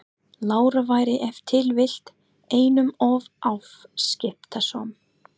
Lára væri ef til vill einum of afskiptasöm.